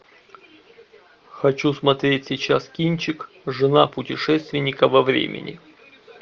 хочу смотреть сейчас кинчик жена путешественника во времени